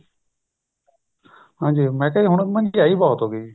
ਹਾਂਜੀ ਮੈਂ ਕਿਹਾ ਜੀ ਹੁਣ ਮਹਿੰਗਾਈ ਬਹੁਤ ਹੋਗੀ